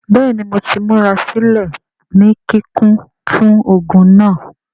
Bẹẹni Mo ti murasilẹ ni kikun fun ogun naa.